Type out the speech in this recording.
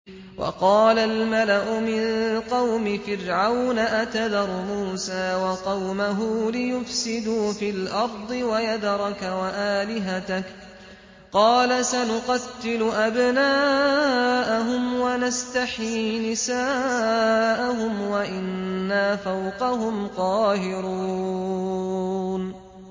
وَقَالَ الْمَلَأُ مِن قَوْمِ فِرْعَوْنَ أَتَذَرُ مُوسَىٰ وَقَوْمَهُ لِيُفْسِدُوا فِي الْأَرْضِ وَيَذَرَكَ وَآلِهَتَكَ ۚ قَالَ سَنُقَتِّلُ أَبْنَاءَهُمْ وَنَسْتَحْيِي نِسَاءَهُمْ وَإِنَّا فَوْقَهُمْ قَاهِرُونَ